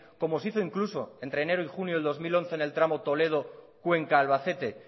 como se hizo incluso entre enero y junio del dos mil once en el tramo toledo cuenca albacete